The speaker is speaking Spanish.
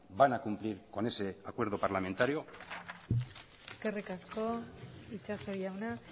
van a cumplir con ese acuerdo parlamentario eskerrik asko itxaso jauna